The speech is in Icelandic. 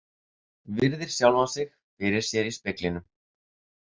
Virðir sjálfa sig fyrir sér í speglinum.